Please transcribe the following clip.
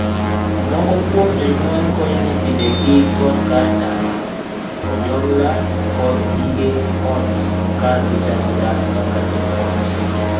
Moko kuom jonyuol konyo nyithindegi kod kar dak, onyongla, kod gige ot ka gichako dak kaka joot.